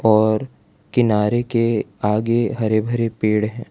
और किनारे के आगे हरे भरे पेड़ हैं।